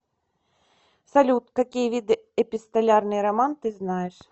салют какие виды эпистолярный роман ты знаешь